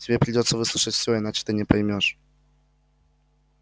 тебе придётся выслушать все иначе ты не поймёшь